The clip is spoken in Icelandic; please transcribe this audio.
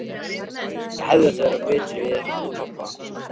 Ég hefði átt að vera betri við hann pabba.